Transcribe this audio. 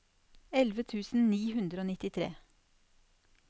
elleve tusen ni hundre og nittitre